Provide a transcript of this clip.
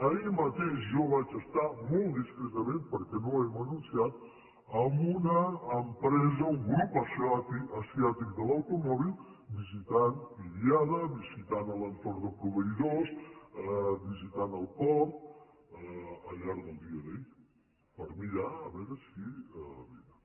ahir mateix jo vaig estar molt discretament perquè no ho hem anunciat amb una empresa un grup asiàtic de l’automòbil visitant idiada visitant l’entorn de proveïdors visitant el port al llarg del dia d’ahir per mirar a veure si vénen